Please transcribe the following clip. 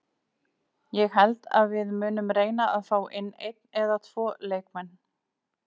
Ég held að við munum reyna fá inn einn eða tvo leikmenn.